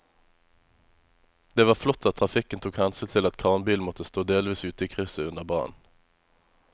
Det var flott at trafikken tok hensyn til at kranbilen måtte stå delvis ute i krysset under brannen.